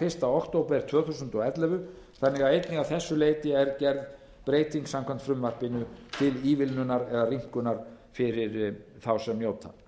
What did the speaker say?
fyrsta október tvö þúsund og ellefu þannig að einnig að þessu leyti er gerð breyting samkvæmt frumvarpinu til ívilnunar eða rýmkunar fyrir þá sem njóta